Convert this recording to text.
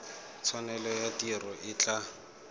tshwanelo ya tiro e tla